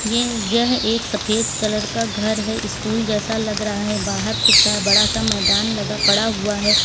ये यह एक सफेद कलर का घर है स्कूल जैसा लग रहा है बाहर खूब सा बड़ा सा मैदान लगा पड़ा हुआ है।